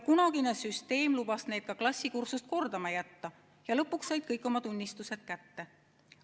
Kunagine süsteem lubas neid ka klassikursust kordama jätta ja lõpuks said kõik oma tunnistused kätte.